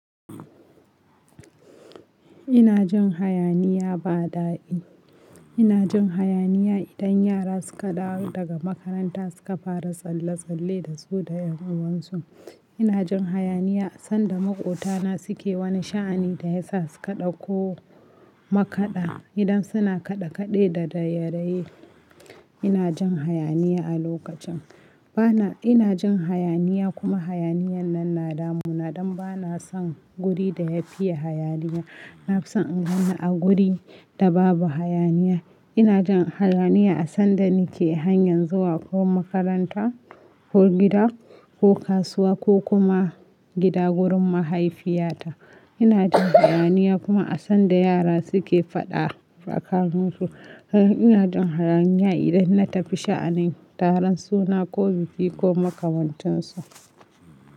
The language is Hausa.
Ina jin hayaniya ba daɗi. Ina jin hayaniya idan yara suka dawo daga makaranta suka fara tsalle-tsalle da su da yan uwansu. Ina jin hayaniya sanda maƙotana suke wani sha'ani da ya sa su ka ɗakko ma kaɗa idan suna kaɗe-kaɗe da raye-raye. Ina jin hayaniya a lokacin. Bana-- ina jin hayaniya kuma hayaniyan nan na damuna don ba na son guri da ya fiye hayaniya. Na fi son in ganni a guri da babu hayaniya. Ina jin hayaniya a sanda nake hanyar zuwa ko makaranta ko gida ko kasuwa ko kuma gida wurin mahaifiyata. Ina jin hayaniya kuma a sanda yara suke faɗa fakanin su. Ina jin hayaniya idan na tafi sha'anin taron suna ko biki ko makamantansu.